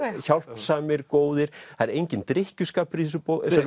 hjálpsamir góðir það er enginn drykkjuskapur í þessari